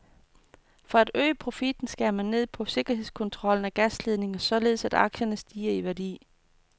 For at øge profitten skærer man ned på sikkerhedskontrollen af gasledningerne, således at aktierne stiger i værdi.